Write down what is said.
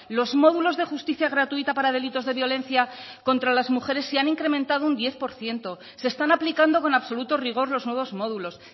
los módulos de justicia gratuita para delitos de violencia contra las mujeres se han incrementado un diez por ciento se están aplicando con absoluto rigor los nuevos módulos